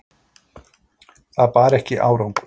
Það bar ekki árangur.